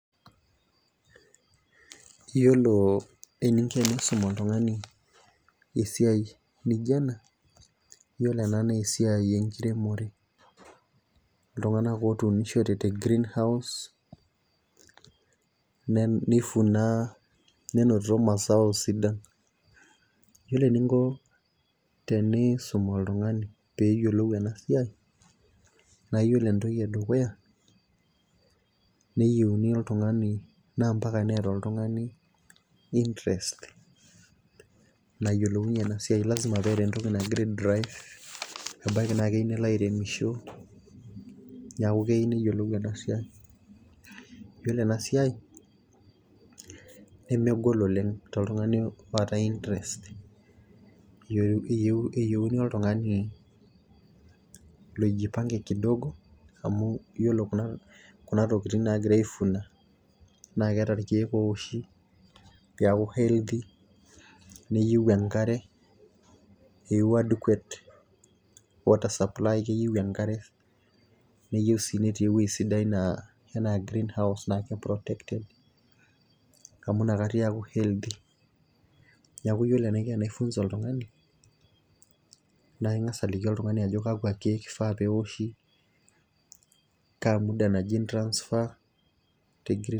Iyiolo eninko enkisuma oltungani esiai naijo ena. iyioolo ena naa esiai enkiremore. iltunganak otuunishote te greenhouse ,neifuna, nenotito mazao sidan. iyiolo eninko tenisum oltungani peeyiolou ena siai, naa iyiolo entoki edukuya neiyeuni oltungani. naa mpaka neeta oltungani interest naasie ena siai. lasima neeta entoki nagira ai drive ebaiki naa keyieu nelo airemosho, neeku keyieu neyiolou ena siai . iyiolo ena siai nemegol oleng toltungani oota interests keyieuni oltungani loijipange kidogo amu iyiolo Kuna tokitin naagira aifuns naa keeta irkeek oshi peeku healthy meyieu enkare, neyieu adequate water supply keyieu enkare, neyieu sii netii ewueji naa ,anaa greenhouse ewueji protected. amu inakata eeku healthy neeku iyiolo enaiko tenai funza oltungani, naa ingas aliki oltungani kakua keeku ifaa neoshi, kaa muda nabaa peei transfer te